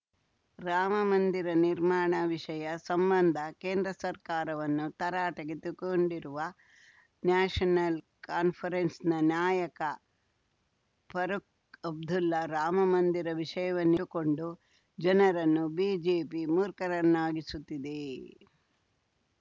ರಾಮಮಂದಿರ ನಿರ್ಮಾಣ ವಿಷಯ ಸಂಬಂಧ ಕೇಂದ್ರ ಸರ್ಕಾರವನ್ನು ತರಾಟೆಗೆ ತೆಗೆದುಕೊಂಡಿರುವ ನ್ಯಾಷನಲ್‌ ಕಾನ್ಫರೆನ್ಸ್‌ನ ನಾಯಕ ಫಾರುಖ್‌ ಅಬ್ದುಲ್ಲಾ ರಾಮ ಮಂದಿರ ವಿಷಯವನ್ನಿಟ್ಟುಕೊಂಡು ಜನರನ್ನು ಬಿಜೆಪಿ ಮೂರ್ಖರನ್ನಾಗಿಸುತ್ತಿದೆ